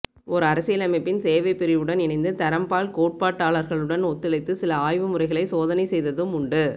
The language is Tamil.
ஓர் அரசியலமைப்பின் சேவைப்பிரிவுடன் இணைந்து தரம்பால் கோட்பாட்டாளர்களுடன் ஒத்துழைத்து சில ஆய்வுமுறைகளை சோதனைசெய்ததும் உண்டு